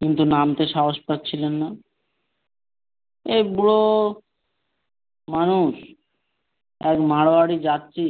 কিন্তু নামতে সাহস পাচ্ছিলেন না এই বুড়ো মানুষ এক যাচ্ছি